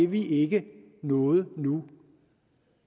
vi ikke noget nu